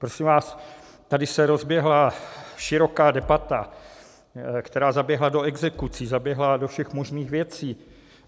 Prosím vás, tady se rozběhla široká debata, která zaběhla do exekucí, zaběhla do všech možných věcí.